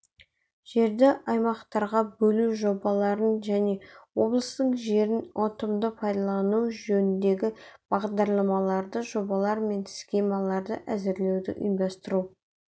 жерді аймақтарға бөлу жобаларын және облыстың жерін ұтымды пайдалану жөніндегі бағдарламаларды жобалар мен схемаларды әзірлеуді ұйымдастыру